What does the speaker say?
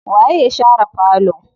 Waye ya share falo?